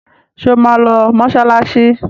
Ṣé ó máa lọ mọṣáláṣí?